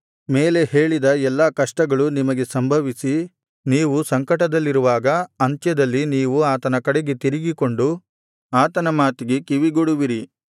ಮೇಲೆ ಹೇಳಿದ ಎಲ್ಲಾ ಕಷ್ಟಗಳು ನಿಮಗೆ ಸಂಭವಿಸಿ ನೀವು ಸಂಕಟದಲ್ಲಿರುವಾಗ ಅಂತ್ಯದಲ್ಲಿ ನೀವು ಆತನ ಕಡೆಗೆ ತಿರುಗಿಕೊಂಡು ಆತನ ಮಾತಿಗೆ ಕಿವಿಗೊಡುವಿರಿ